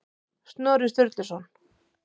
Snorri Sturluson.